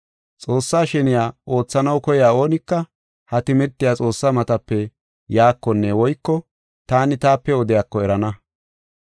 Xoossaa sheniya oothanaw koyiya oonika ha timirtey Xoossaa matape yaakonne woyko taani taape odiyako erana.